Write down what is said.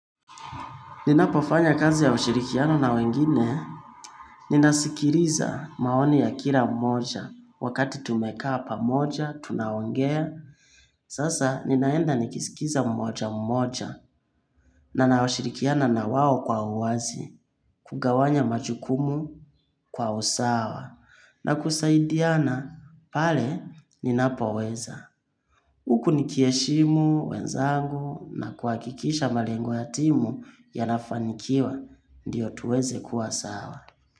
Ninapofanya kazi ya ushirikiano na wengine, ninasikiliza maoni ya kila mmoja, wakati tumekaa pamoja, tunaongea, sasa ninaenda nikisikiza mmoja mmoja, nashirikiana na wao kwa uwazi, kugawanya majukumu kwa usawa, na kusaidiana, pale ninapoweza. Huku nikiheshimu, wenzangu na kuhakikisha malengo ya timu yanafanikiwa, ndiyo tuweze kuwa sawa.